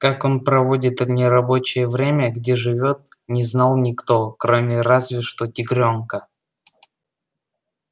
так он проводит в нерабочее время где живёт не знал никто кроме разве что тигрёнка